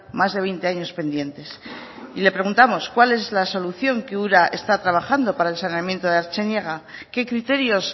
más de veinte años pendientes y le preguntamos cuál es la solución que ura está trabajando para el saneamiento de artziniega qué criterios